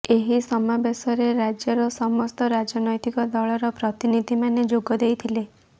ଏହି ସମାବେଶରେ ରାଜ୍ୟର ସମସ୍ତ ରାଜନୈତିକ ଦଳର ପ୍ରତିନିଧି ମାନେ ଯୋଗ ଦେଇଥିଲେ